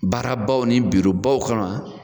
Baarabaw ni .